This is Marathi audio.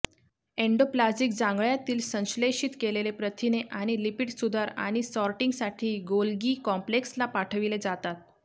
एन्डोप्लाझिक जांघळ्यातील संश्लेषित केलेले प्रथिने आणि लिपिड सुधार आणि सॉर्टिंगसाठी गोल्गी कॉम्प्लेक्सला पाठविले जातात